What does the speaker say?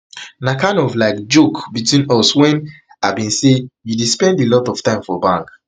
na kinda of like joke between uswen i bin bin say you dey spend a lot of time for bank